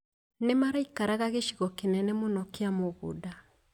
Nĩmaraikaraga gĩcigo kĩnene mũno kĩa mũgũnda.